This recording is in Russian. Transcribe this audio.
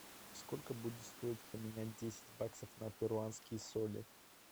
сколько будет стоить поменять десять баксов на перуанские соли